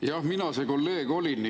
Jah, mina see kolleeg olin.